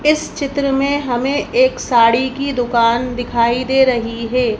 इस चित्र में हमें एक साड़ी की दुकान दिखाई दे रही है।